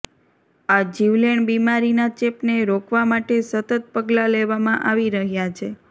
આ જીવલેણ બીમારીના ચેપને રોકવા માટે સતત પગલા લેવામાં આવી રહ્યા છે